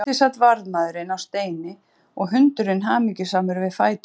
Úti sat varðmaðurinn á steini og hundurinn hamingjusamur við fætur hans.